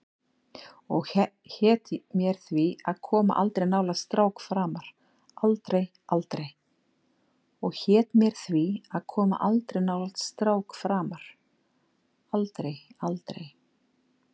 Og hét mér því að koma aldrei nálægt strák framar, aldrei, aldrei.